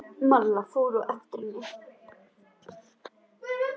Malla fór á eftir henni.